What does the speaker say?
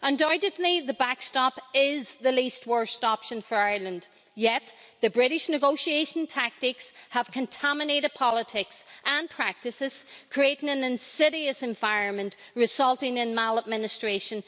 Undoubtedly, the backstop is the least worst option for Ireland, yet the British negotiation tactics have contaminated politics and practices, creating an insidious environment resulting in maladministration.